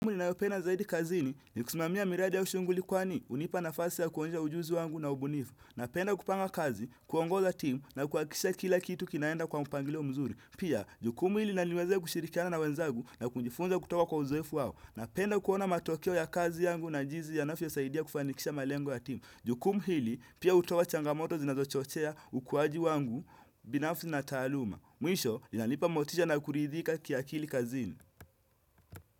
Ninayopenda zaidi kazini ni kusimamia miradi au shughuli kwani. Hunipa nafasi ya kuonyesha ujuzi wangu na ubunifu. Napenda kupanga kazi, kuongoza timu nakuhakikisha kila kitu kinaenda kwa mpangilio mzuri. Pia, jukumu hili laniwezea kushirikiana na wenzagu na kujifunza kutoka kwa uzoefu wao. Napenda kuona matokeo ya kazi yangu na jinsi yanavyosaidia kufanikisha malengo ya timu. Jukumu hili, pia hutowa changamoto zinazochochea ukuaji wangu binafsi na taaluma. Mwisho, linanipa motisha na kuridhika kiakili kazini.